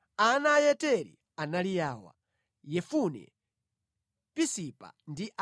Ana a Yeteri anali awa: Yefune, Pisipa ndi Ara.